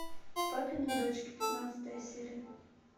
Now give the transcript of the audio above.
папины дочки пятнадцатая серия